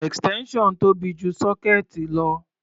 Extension tóbi ju sọ́kéẹ̀tì lọ.